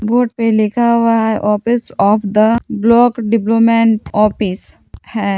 Board पे लिखा हुआ है office of the block development office है।